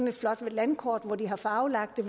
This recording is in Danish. et flot landkort hvor de har farvelagt det